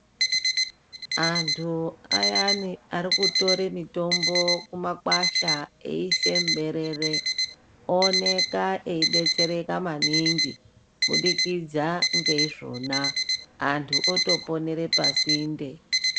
Antu ayani arikutore mitombo mumakwasha veisa muberere ooneka ebetsereka maningi kuburikidza ngeizvona antu otoponera pasinde .